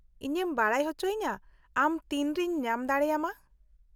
-ᱤᱧᱮᱢ ᱵᱟᱰᱟᱭ ᱚᱪᱚᱭᱤᱧᱟ ᱟᱢ ᱛᱤᱱᱨᱮᱧ ᱧᱟᱢ ᱫᱟᱲᱮᱭᱟᱢᱟ ᱾